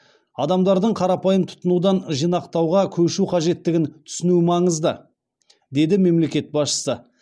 адамдардың қарапайым тұтынудан жинақтауға көшу қажеттігін түсінуі маңызды деді мемлекет басшысы